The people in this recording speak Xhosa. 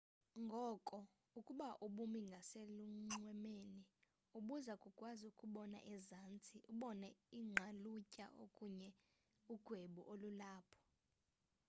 ngoko ukuba ubumi ngaselunxwemeni ubuza kukwazi ukubona ezantsi ubone iingqalutya okanye ugwebu olulapho